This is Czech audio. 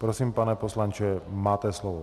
Prosím, pane poslanče, máte slovo.